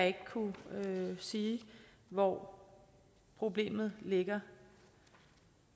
ikke kunne sige hvor problemet ligger